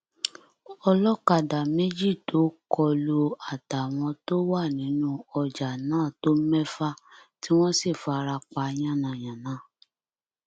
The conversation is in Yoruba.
olókadà méjì tó kọ lù àtàwọn tó wà nínú ọjà náà tó mẹfà tí wọn sì fara pa yánnayànna